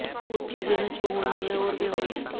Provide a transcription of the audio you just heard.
कुछ चीजें हैं जो होनी हैं और वे होंगी